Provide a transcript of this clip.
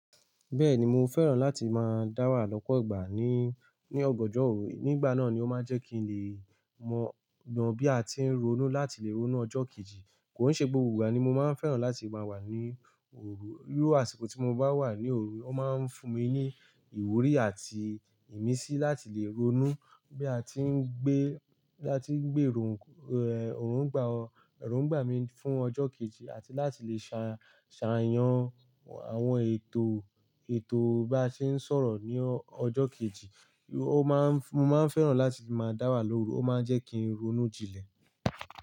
Bẹ́ẹ̀ni mo fẹ́ràn láti máa dá wà lọ́pọ̀ ìgbà ní, ní ọ̀ganjọ́ òru, nígbà náà ni ó máa ń jẹ́ kí n lè mọ, mọ bí a ti ń ronú láti lè ronú ọjọ́ kejì. Kò ń ṣe gbogbo ìgbà ni mo máa ń fẹ́ràn láti máa wà ní òru. Iru àsìkò tí mo bá wà ní òru, ó máa ń fún mi ní ìwúrí àti ìmísí láti lè ronú bí a ti ń gbé, bí a ti ń gbérò, ẹ̀, eròǹgbà, eròǹgbà mi fún ọjọ́ kejì àti láti lè ṣà, ṣàyàn àwọn ètò, ètò bá ṣe ń sọ̀rọ̀ ní ọjọ́ kejì. Ó máa ń, mo máa ń fẹ́ràn láti máa dá wà lóru. Ó máa ń jẹ́ kí n ronú jinlẹ̀.